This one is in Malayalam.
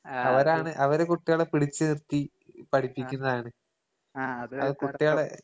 ആഹ് അത് ആഹ് അത്